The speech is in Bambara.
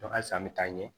halisa an bɛ taa ɲɛ